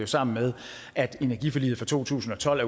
sammen med at energiforliget fra to tusind og tolv